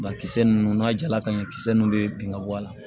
Ba kisɛ ninnu n'a jala ka ɲɛ kisɛ nunnu bɛ bin ka bɔ a la